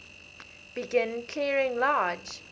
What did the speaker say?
begin clearing large